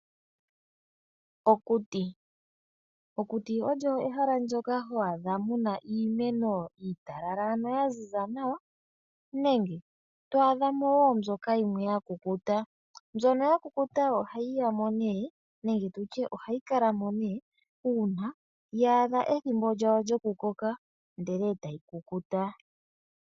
Okuti. Okuti olyo ehala ndjoka ho adha muna iimeno iitalala, ano ya ziza nawa nenge to a dhamo woo mbyoka ya kukuta. Mbyono ya kukuta ohayi yamo nee nenge tulye ohayi kalamo nee uuna ya adha ethimbo lyawo lyo kukoka ndele etayi kukuta.